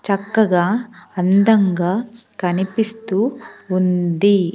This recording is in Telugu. చక్కగా అందంగా కనిపిస్తూ ఉంది.